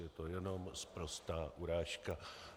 Je to jenom sprostá urážka.